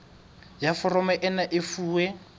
ya foromo ena e fuwe